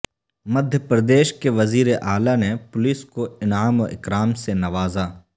مدھیہ پردیش کے وزیر اعلی نے پولیس کو انعام و اکرام سے نوازا